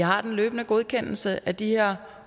har en løbende godkendelse af de her